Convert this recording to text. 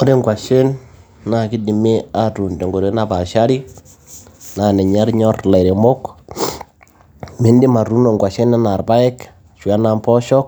Ore inkwashen naa keidimi aatuun tenkoitoi napaashari, naa ninye enyor ilairemok, midim atuuno inkwashen anaa irpaek ashu enaa impoosho